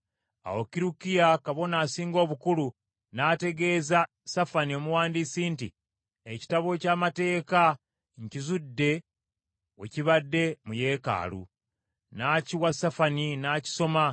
Awo Kirukiya kabona asinga obukulu n’ategeeza Safani omuwandiisi nti, “Ekitabo eky’Amateeka nkizudde we kibadde mu yeekaalu .” N’akiwa Safani n’akisoma.